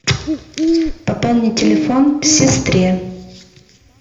пополни телефон сестре